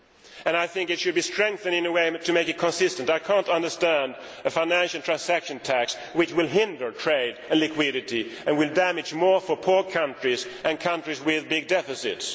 and I think it should be strengthened in a way to make it consistent. I cannot understand a financial transaction tax which will hinder trade and liquidity and which will do more damage to poor countries and countries with big deficits.